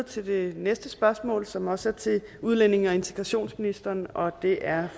til det næste spørgsmål som også er til udlændinge og integrationsministeren og det er